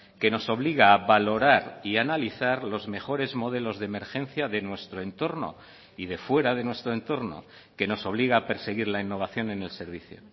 que nos obliga a valorar y a analizar los mejores modelos de emergencia de nuestro entorno y de fuera de nuestro entorno que nos obliga a perseguir la innovación en el servicio